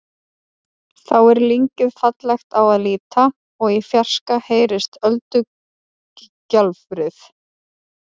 Þá er lyngið fallegt á að líta og í fjarska heyrist öldugjálfrið.